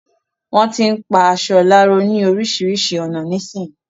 Wọ́n tín pa aṣọ láró ni oríṣiríṣi ọ̀nà nísìí